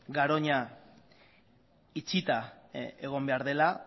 garoña itxita egon behar dela